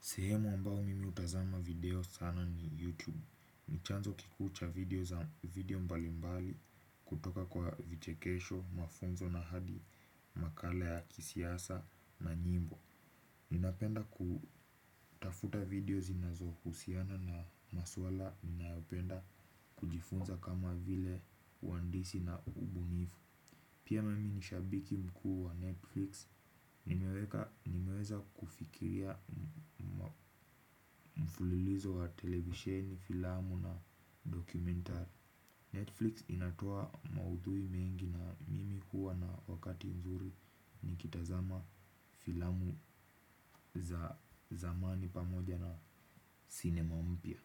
Sehemu ambao mimi hutazama video sana ni YouTube. Ni chanzo kiku cha video video mbali mbali kutoka kwa vichekesho, mafunzo na hadi, makala ya kisiasa na nyimbo. Ninapenda kutafuta video zinazohusiana na maswala ninayopenda kujifunza kama vile uhandisi na ubunifu. Pia mimi ni shabiki mkuu wa Netflix, nimeweka nimeweza kufikiria mfululizo wa televisheni filamu na dokumentari Netflix inatoa maudhui mengi na mimi huwa na wakati mzuri nikitazama filamu za zamani pamoja na cinema mpya.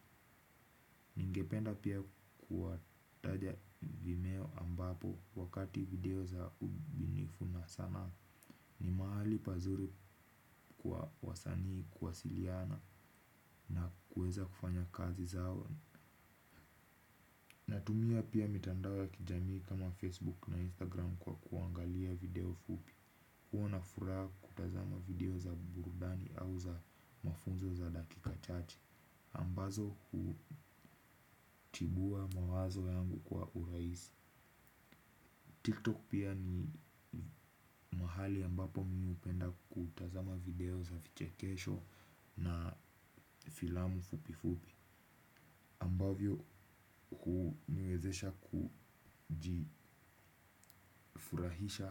Ningependa pia kuwataja vimeo ambapo wakati video za ubinifu na sanaa ni mahali pazuri kwa wasanii kuwasiliana na kuweza kufanya kazi zao. Natumia pia mitandao kijamii kama Facebook na Instagram kwa kuangalia video fupi huwa na fura kutazama video za burudani au za mafunzo za dakika chache ambazo hutibua mawazo yangu kwa urahisi TikTok pia ni mahali ambapo mi hupenda kutazama video za vichekesho na filamu fupi fupi ambavyo huniwezesha kujifurahisha.